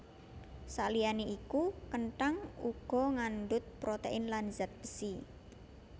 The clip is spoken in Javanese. Saliyané iku kenthang uga ngandhut protein lan zat besi